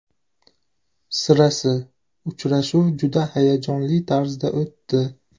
Sirasi, uchrashuv juda hayajonli tarzda o‘tdi.